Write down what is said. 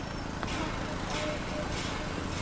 Nokkrir bæir eru í dalnum.